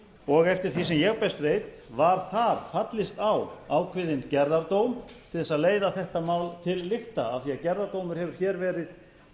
og eftir því sem ég best veit var þar fallist á ákveðinn gerðardóm til þess að leiða þetta mál til lykta af því að gerðardómur hefur hér verið